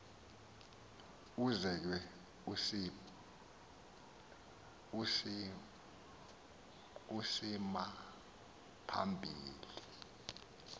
ukuze ke isimaphambili